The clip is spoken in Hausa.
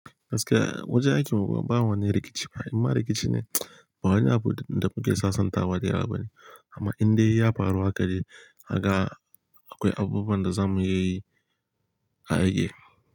Gaskiya wajen aikin mu ba wani rikici ba, inma rikici ne ba wani abu da muke sassanta da yawa ba ne. Amma in dai ya faru hakan dai kaga akwai abubuwan da za mu yi a aiki.